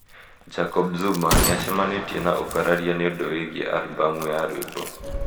Jacob Zuma: nĩ acamanĩtie na ũkararia nĩ ũndũ wĩgiĩ arũbamu ya rwĩmbo.